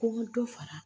Ko n ka dɔ fara